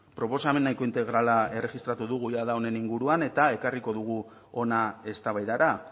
proposamen nahiko integrala erregistratu dugu jada honen inguruan eta ekarriko dugu hona eztabaidara